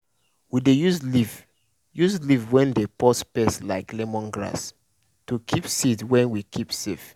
we dey use leaf use leaf wey dey purse pest like lemon grass to keep seed wey we keep safe.